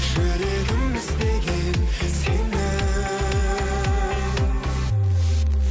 жүрегім іздеген сені